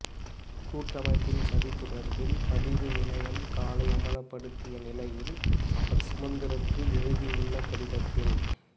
கூட்டமைப்பின் சதி தொடர்பில் பதிவு இணையம் காலை அம்பலப்படுத்திய நிலையில் அவர் சுமந்திரக்கு எழுதியுள்ள கடிதத்தில்